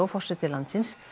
forseti landsins